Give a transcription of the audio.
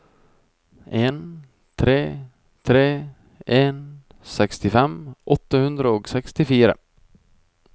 en tre tre en sekstifem åtte hundre og sekstifire